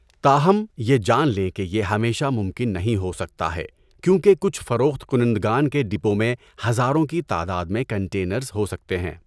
تاہم، یہ جان لیں کہ یہ ہمیشہ ممکن نہیں ہو سکتا ہے کیونکہ کچھ فروخت کنندگان کے ڈپو میں ہزاروں کی تعداد میں کنٹینر ہو سکتے ہیں۔